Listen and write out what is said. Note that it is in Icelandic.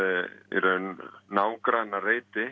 í raun